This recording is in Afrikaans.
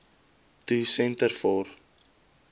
to centre for